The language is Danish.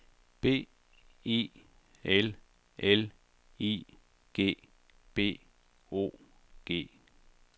B I L L I G B O G